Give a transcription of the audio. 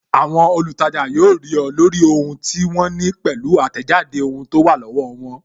Àwọn olutaja yóò rí ọ, lórí ohun tí wọ́n ní pẹ̀lú atejade ohun tó wà lọ́wọ́ won